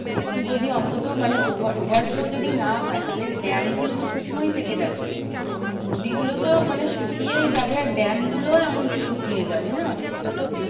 একটু যদি অন্তত মানে over over floor যদি না হয়? তাহলে ড্যামগুলো তো শুকনোই থেকে যাচ্ছে। নদী গুলো তো মানে শুকিয়েই যাবে। আর ড্যামগুলোও এমনকি শুকিয়ে যাবে না? মানে এটা তো